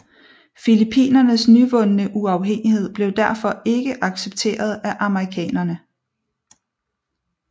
Filippinernes nyvundne uafhængighed blev derfor ikke accepteret af amerikanerne